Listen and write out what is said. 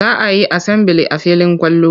Za a yi asambili a filin kwallo.